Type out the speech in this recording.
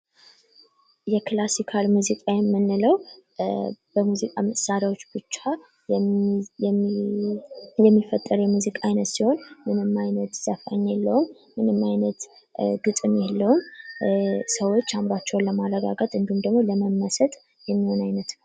የክላሲካል ሙዚቃ የምንለው በሙዚቃ መሳሪያዎች ብቻ የሚፈጠር የሙዚቃ አይነት ሲሆን ምንም አይነት ዘፋኝ የለውም። ምንም አይነት ግጥም የለውም ሰዎች አእምሯቸውን ለማለቃቀጥ እንድሁም ደግሞ ለመመሰጥ የሚሆን አይነት ነው።